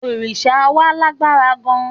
Òrìṣà wa lágbára gan-an.